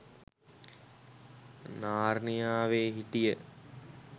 නාර්නියාවේ හිටිය